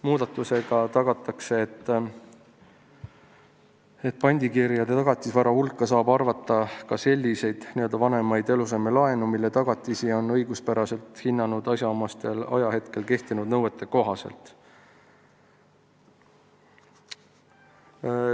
Muudatusega soovitakse tagada, et pandikirjade tagatisvara hulka saab arvata ka selliseid vanemaid eluasemelaene, mille tagatisi on õiguspäraselt hinnatud asjaomasel ajahetkel kehtinud nõuete kohaselt.